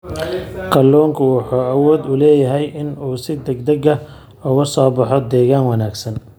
Kalluunku waxa uu awood u leeyahay in uu si degdeg ah ugu soo baxo deegaan wanaagsan.